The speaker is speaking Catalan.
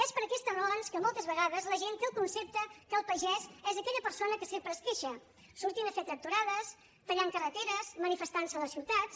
és per aquestes raons que moltes vegades la gent té el concepte que el pagès és aquella persona que sempre es queixa sortint a fer tractorades tallant carreteres manifestant se a les ciutats